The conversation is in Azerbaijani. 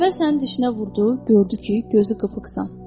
Əvvəl sənin dişinə vurdu, gördü ki, gözü qıpıqsan.